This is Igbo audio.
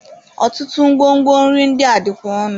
Ọtụtụ ngwo ngwo nri ndị a dịkwa ọnụ.